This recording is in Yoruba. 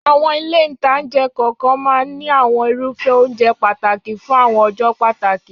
Àwọn ilé-ìtánjẹ kokan maa n ní àwọn irufe ounje pataki fun awon ọjọ́ pàtàkì